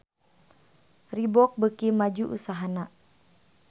Reebook beuki maju usahana